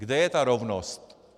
Kde je ta rovnost?